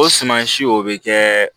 O suman si o bɛ kɛ